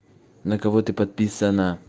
на кого ты подписана